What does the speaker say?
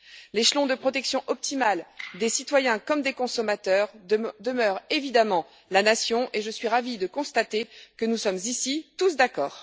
L'échelon de protection optimale des citoyens comme des consommateurs demeure évidemment la Nation et je suis ravie de constater que nous sommes ici tous d'accord.